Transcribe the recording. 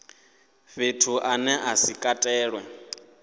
fhethu ane a si katelwe